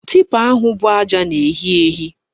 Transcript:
Tipa ahụ bụ aja na-ehi ehi